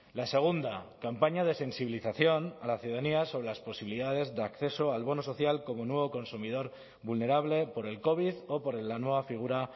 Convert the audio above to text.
la segunda campaña de sensibilización a la ciudadanía sobre las posibilidades de acceso al bono social como nuevo consumidor vulnerable por el covid o por la nueva figura